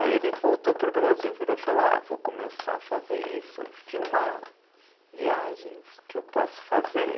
Aí ele voltou para o Brasil e virou e falou, ah vou começar a fazer isso, filmar viagens que eu posso fazer.